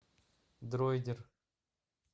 дройдер